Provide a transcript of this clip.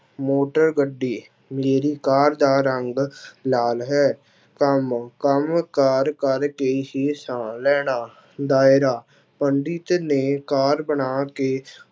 motor ਗੱਡੀ ਮੇਰੀ car ਦਾ ਰੰਗ ਲਾਲ ਹੈ ਕੰਮ, ਕੰਮ ਕਾਰ ਕਰਕੇ ਹੀ ਸਾਹ ਲੈਣਾ, ਦਾਇਰਾ ਪੰਡਿਤ ਨੇ ਕਾਰ ਬਣਾ ਕੇ